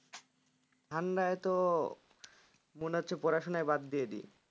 ঠান্ডায় তো মনে হচ্ছে পড়াশুনাই বাদ দিয়ে দিই